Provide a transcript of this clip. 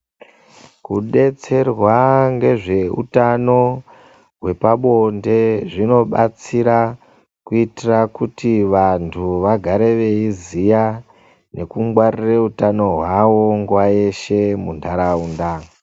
Kudetserwa ngezveutano hwepabonde zvinobatsira kuitira kuti vanthu vagare veiziya nekungwarira utano hwavo nguwa yeshe muntharaunda.